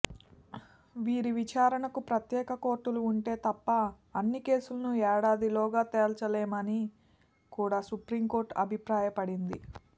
వీరి విచారణకు ప్రత్యేక కోర్టులు ఉంటే తప్ప అన్ని కేసులను ఏడాదిలోగా తేల్చలేమని కూడా సుప్రీంకోర్టు అభిప్రాయపడింది